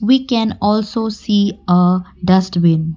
we can also see a dustbin.